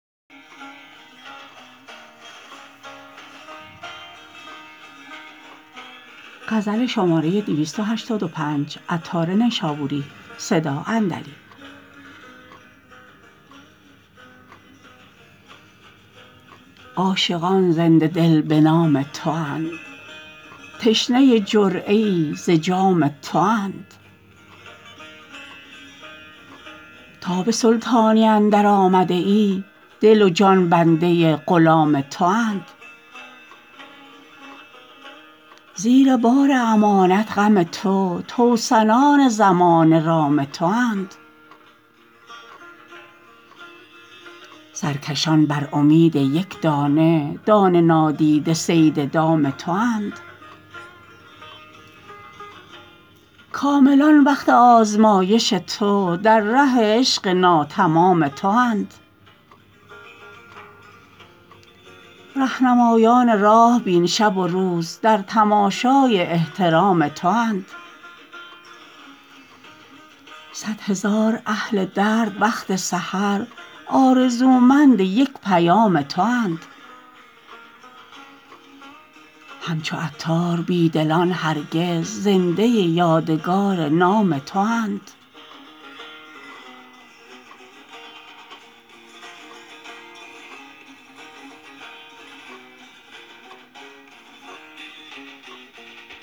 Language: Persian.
عاشقان زنده دل به نام تو اند تشنه جرعه ای ز جام تو اند تا به سلطانی اندر آمده ای دل و جان بنده غلام تو اند زیر بار امانت غم تو توسنان زمانه رام تو اند سرکشان بر امید یک دانه دانه نادیده صید دام تو اند کاملان وقت آزمایش تو در ره عشق ناتمام تو اند رهنمایان راه بین شب و روز در تماشای احترام تو اند صد هزار اهل درد وقت سحر آرزومند یک پیام تو اند همچو عطار بی دلان دگر زنده یادگار نام تو اند